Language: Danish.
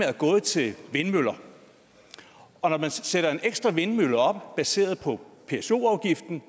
er gået til vindmøller og når man sætter en ekstra vindmølle op baseret på pso afgiften